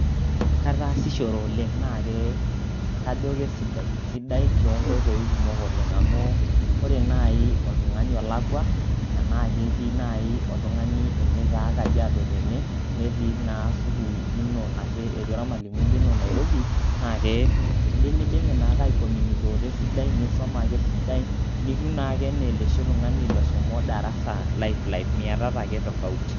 Kataasishore oleng' naake kajo kesidai. Sidai tonkoitoi kumok oleng' amu ore nai oltung'ani olakua enaake eti nai oltung'ani ene taa Kajiado tene, netii naa sukuul ino anashe eti ormalimui lino Nairobi, naake indimidimi naake aicommunicator esidai, nisoma ake esidai nitiu ake naa oloshi tung'ani loshomo darasa live live miatata ake tofauti.